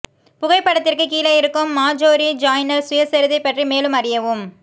புகைப்படத்திற்கு கீழே இருக்கும் Marjorie Joiner சுயசரிதை பற்றி மேலும் அறியவும்